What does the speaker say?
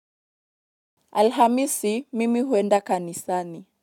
Alhamisi, mimi huenda kanisani.